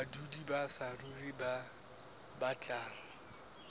badudi ba saruri ba batlang